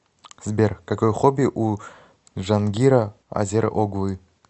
сбер какое хобби у джангира азер оглы